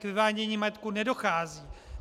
K převádění majetku nedochází.